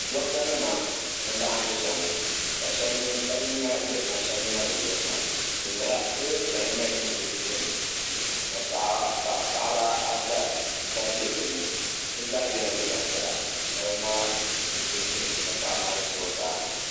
duɣita nima n-laɣim ʒiya ŋɔ ka shɛba nina yirina ka shɛba nina bi yirina teebuli piɛlli nyɛla din ʒi bɛ tooni ka paɣaba ata be din ni bɛ zaa yela liiga piɛla dabba maa ʒimi ka paɣa maa ʒi zuɣusaa.